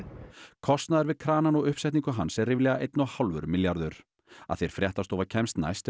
kostnaður við kranann og uppsetningu hans er ríflega einn og hálfur milljarður að því er fréttastofa kemst næst er